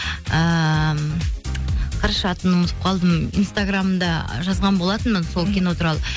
ыыы қарашы атын ұмытып қалдым инстаграмда жазған болатынмын сол кино туралы